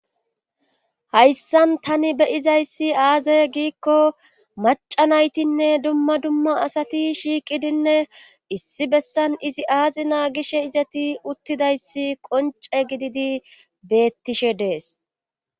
Hayssan tani beyizayssi aaze giikko maca naytinne dumma dumma asati shiiqidinne issi bessan izi aazina gishe izati uttidayssi qonce gididi beettishe dees.